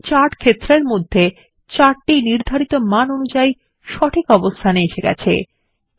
আমরা চার্ট ক্ষেত্রর মধ্যে চার্ট নির্ধারিত মান অনুযায়ী সঠিক অবস্থানে এসে গেছে